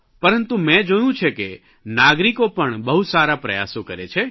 પરંતુ મે જોયું છે કે નાગરિકો પણ બહુ સારા પ્રયાસો કરે છે